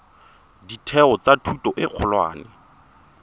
ditheo tsa thuto e kgolwane